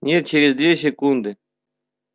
нет через две секунды